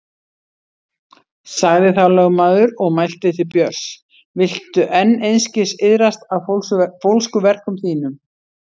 Sagði þá lögmaður og mælti til Björns: Viltu enn einskis iðrast af fólskuverkum þínum?